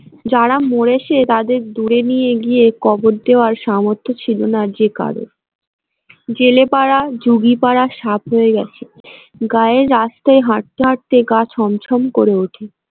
যারা মরেছে তাদের দূরে নিয়ে গিয়ে কবর দেওয়ার সামর্থ্য ছিল না যে কারোর জেলে পাড়া যুগি পাড়া সাফ হয়ে গেছে গায়ের রাস্তায় হাঁটতে হাঁটতে গা ছমছম করে ওঠে।